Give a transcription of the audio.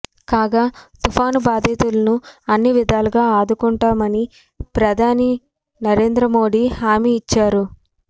కాగా తుపాను బాధితులను అన్ని విధాలుగా ఆదుకుంటామని ప్రధాని నరేంద్ర మోడీ హామీ ఇచ్చారు